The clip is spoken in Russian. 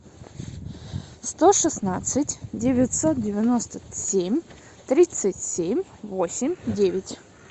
сто шестнадцать девятьсот девяносто семь тридцать семь восемь девять